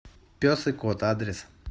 пес и кот адрес